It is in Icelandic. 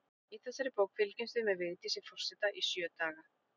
Í þessari bók fylgjumst við með Vigdísi forseta í sjö daga.